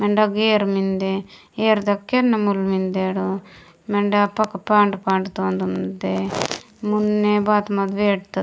मेंडे अगा एयर मेन्दे एयर तगा केन मूल मेंदेडो मेंडे पक्का पान्ड - पान्ड तोल मुन्ने बात मति --